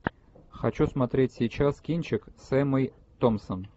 хочу смотреть сейчас кинчик с эммой томпсон